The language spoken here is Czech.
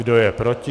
Kdo je proti?